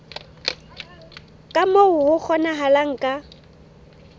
ka moo ho kgonahalang ka